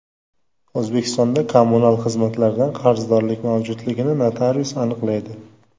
O‘zbekistonda kommunal xizmatlardan qarzdorlik mavjudligini notarius aniqlaydi.